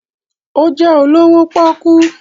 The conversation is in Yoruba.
Ó jẹ́ olówó pọ́ọ́kú.